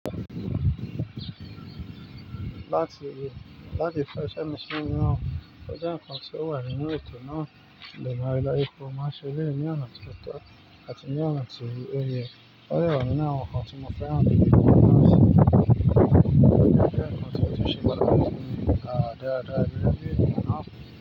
Láti, láti fẹ́ ṣẹ̀ mí ṣí iná, ọjà nkàn tí ó wà nínú ètò náà lò má rẹ́ lọ ipò má ṣe léèní ọ̀nà títọ́ àti léèní ọ̀nà ti oyè. Ó lè wọ́n ní àwọn nkàn tí mo fẹ́ rán dídì lọ sí, ọjà nkàn tí ó tún ṣe máa rẹ́ nínú, à díẹ̀ díẹ̀ ẹbí náà.